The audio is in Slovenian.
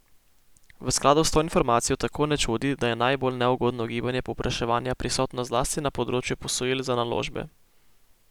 V skladu s to informacijo tako ne čudi, da je najbolj neugodno gibanje povpraševanja prisotno zlasti na področju posojil za naložbe.